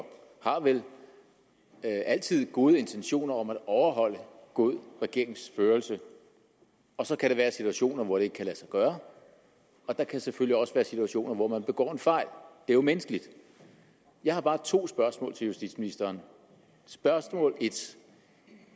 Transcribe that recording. vel altid har gode intentioner om at overholde god regeringsførelse og så kan der være situationer hvor det ikke kan lade sig gøre og der kan selvfølgelig også være situationer hvor man begår en fejl det er jo menneskeligt jeg har bare to spørgsmål til justitsministeren spørgsmål 1